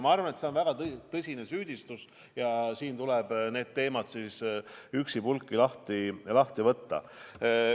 Ma arvan, et see on väga tõsine süüdistus ja siin tuleb need teemad siis üksipulgi lahti võtta.